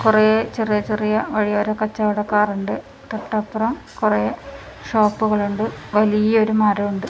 കൊറേ ചെറിയ ചെറിയ വഴിയോര കച്ചവടക്കാർ ഉണ്ട് തൊട്ട് അപ്പുറം കൊറേ ഷോപ്പുകൾ ഉണ്ട് വലിയൊരു മരം ഉണ്ട്.